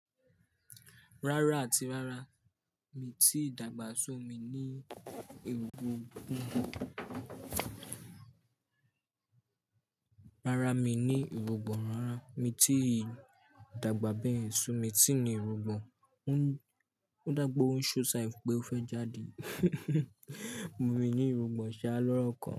Rárá àti rárá mi tí dàgbà sọ̀ mí ní èrògbò. Rárá mi ní èrògbò. Rárá mi tí dàgbà bẹ́ẹ̀ sọ̀ mí tí ní irugbòn. Ó dàpeó ń ṣọ ṣáìfù pé ó fẹ́ jáde. Mo ní irugbòn ṣáá lọ́rokan.